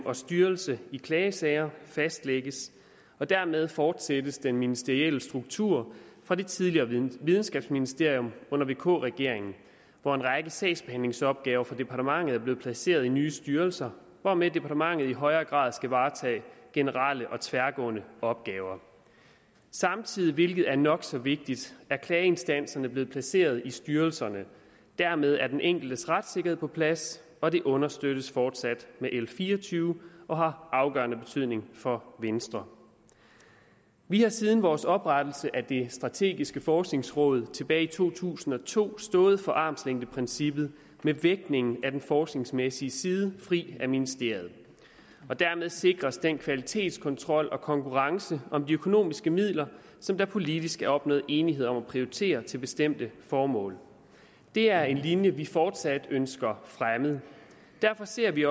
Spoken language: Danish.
og styrelse i klagesager fastlægges og dermed fortsættes den ministerielle struktur fra det tidligere videnskabsministerium under vk regeringen hvor en række sagsbehandlingsopgaver for departementet er blevet placeret i nye styrelser hvormed departementet i højere grad skal varetage generelle og tværgående opgaver samtidig hvilket er nok så vigtigt er klageinstanserne blevet placeret i styrelserne dermed er den enkeltes retssikkerhed på plads og det understøttes fortsat med l fire og tyve og har afgørende betydning for venstre vi har siden vores oprettelse af det strategiske forskningsråd tilbage i to tusind og to stået for armslængdeprincippet med vægtningen af den forskningsmæssige side fri af ministeriet og dermed sikres den kvalitetskontrol og konkurrence om de økonomiske midler som der politisk er opnået enighed om at prioritere til bestemte formål det er en linje vi fortsat ønsker fremmet derfor ser vi